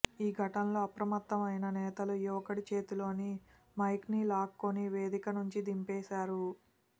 ఈ ఘటనతో అప్రమత్తమైన నేతలు యువకుడి చేతిలోని మైక్ని లాక్కొని వేదిక నుంచి దించేశారు